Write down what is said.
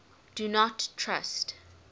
do not trust